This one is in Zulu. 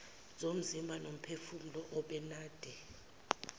zomzimba nomphefumulo ubenade